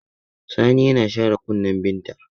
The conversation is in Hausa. Sani yana share kunnin Binta.